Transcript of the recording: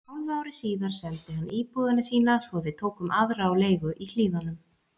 Hálfu ári síðar seldi hann íbúðina sína svo við tókum aðra á leigu í Hlíðunum.